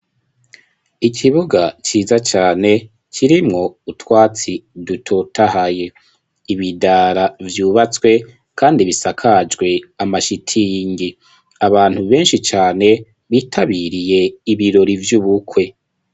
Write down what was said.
Ikibuga ciza cane kirimwo utwatsi dutotahaye ibidara vyubatswe, kandi bisakajwe amashitiyingi abantu benshi cane bitabiriye ibirori vy'ubukwe.